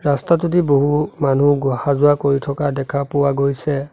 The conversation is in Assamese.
ৰাস্তাটোদি বহু মানু্হক গো আহা-যোৱা কৰি থকা দেখা পোৱা গৈছে।